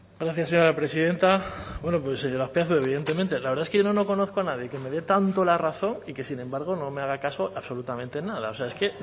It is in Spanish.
gracias señora presidenta bueno pues señor azpiazu evidentemente la verdad es que yo no conozco a nadie que me dé tanto la razón y que sin embargo no me haga caso absolutamente en nada o sea es que